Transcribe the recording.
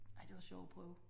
Ej det var sjovt at prøve